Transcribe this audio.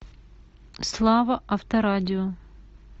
слава авторадио